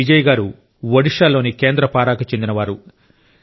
బిజయ్ గారు ఒడిషాలోని కేంద్రపారాకు చెందినవారు